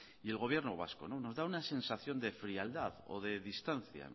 y el gobierno vasco nos da una sensación de frialdad o de distancia